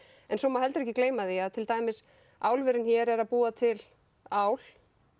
en svo má ekki gleyma því að til dæmis álverin hér eru að búa til ál